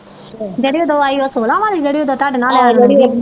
ਜਿਹੜੀ ਓਦੋ ਆਈ ਉਹ ਸੋਹਲਾ ਵਾਲੀ ਜਿਹੜੀ ਓਦੋ ਤੁਹਾਡੇ ਨਾਲ